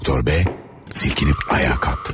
Doktor B silkiniib ayağa qalxdı.